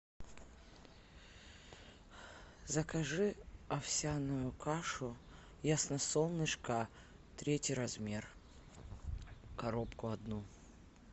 закажи овсяную кашу ясно солнышко третий размер коробку одну